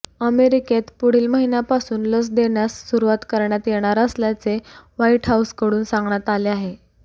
अमेरिकेत पुढील महिन्यापासून लस देण्यास सुरुवात करण्यात येणार असल्याचे व्हाइट हाउसकडून सांगण्यात आले आहे